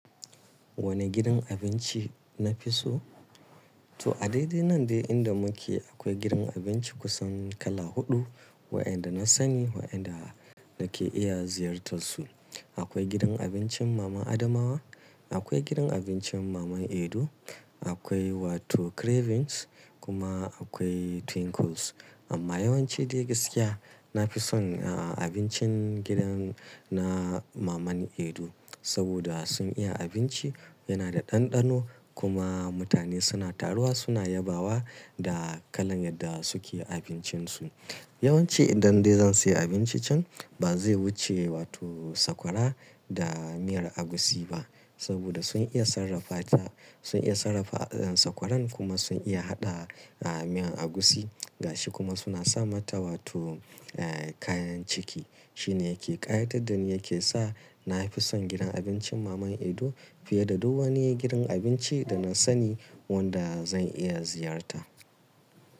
Wanne gidan abinci na fi so? To a daidai nan dai inda muke akwai gidan abinci kusan kala huɗu waɗanda na sani waɗanda nake iya ziyartarsu. Akwai gidan abincin mama Adamawa, akwai gidan abincin mama Edo, akwai wato cravings kuma akwai twinkles. Amma yawanci dai gaskiya na fi son na abincin gidan na mama Edo saboda sun iya abinci yana da ɗanɗano kuma mutane suna taruwa suna yabawa da kalan yadda suke abincinsu. Yawanci idan dai zan siya abinci can ba zai wuce wato sakwara da miyar agushi ba saboda sun iya sarrafa ta, sun iya sarrafa sakwaran kuma sun iya haɗa miyan agushi gashi kuma suna sa mata wato kayan ciki. Shine yake ƙayatar da ni yake sa na fi son gidan abincin mama Edo fiye da duk wani gidan abinci da na sani wanda zan iya ziyarta.